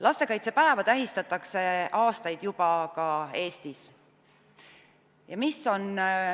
Lastekaitsepäeva tähistatakse juba aastaid ka Eestis.